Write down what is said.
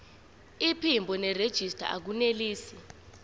iphimbo nerejista akunelisi